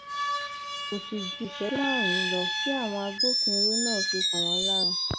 kò sì ju ìṣẹjú márùnún lọ tí àwọn agbófinró náà fi kàn wọn lára